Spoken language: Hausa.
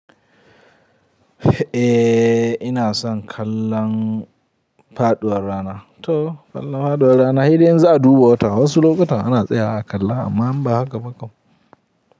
Eh ina son kallon faɗuwar rana to kallon faɗuwar rana saidai in za a duba wata wasu lokutan ana tsayawa a kalla amma in ba haka ba kam.